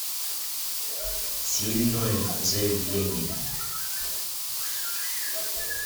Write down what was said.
сильное заявление